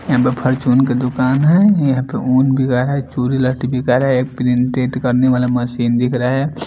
यहां पर फार्चून का दुकान है यहां पे ऊन बिका रहा है चूड़ी बिका रहा है एक प्रिंटेड करने वाला मशीन दिख रहा है।